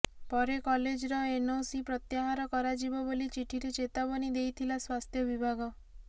ପରେ କଲେଜର ଏନଓସି ପ୍ରତ୍ୟାହର କରାଯିବ ବୋଲି ଚିଠିରେ ଚେତାବନୀ ଦେଇଥିଲା ସ୍ୱାସ୍ଥ୍ୟ ବିଭାଗ